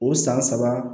O san saba